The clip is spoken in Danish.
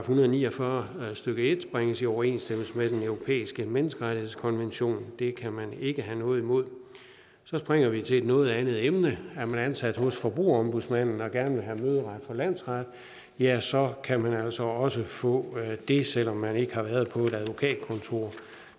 hundrede og ni og fyrre stykke en bringes i overensstemmelse med den europæiske menneskerettighedskonvention det kan man ikke have noget imod så springer vi til et noget andet emne er man ansat hos forbrugerombudsmanden og gerne have møderet for landsretten ja så kan man altså også få det selv om man ikke har været på et advokatkontor